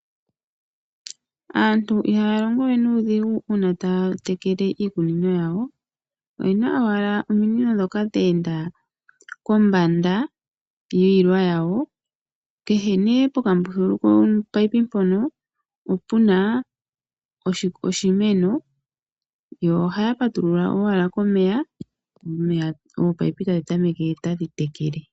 Aantu ihaya longo we nuudhigu uuna taya tekele iikunino yawo . Oyena owala ominino dhoka dheenda kombanda yiilwa yawo. Kehe ne pokambululu kopayipi mpono opuna oshimeno yo ohaya patulula owala komeya oopayipi tadhi tameke tadhi tekele.